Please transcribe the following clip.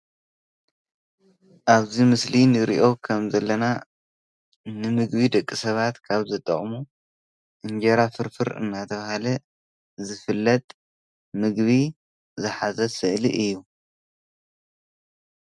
ኣብዚ ምስሊ ንሪኦ ከም ዘለና ንምግቢ ደቂ ሰባት ካብ ዘጠቅሙ እንጀራ ፍርፍር እናተባህለ ዝፍለጥ መግቢ ዝሓዘ ስእሊ እዩ።